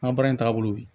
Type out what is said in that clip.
An ka baara in taagabolo ye